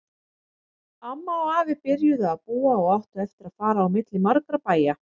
Amma og afi byrjuðu að búa og áttu eftir að fara á milli margra bæja.